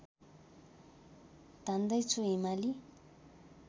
धान्दै छु हिमाली